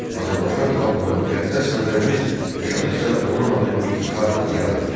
Azərbaycan xalqı və müqəddəs Vətənimiz yaşadıkca onun adı iftixarla yad ediləcək.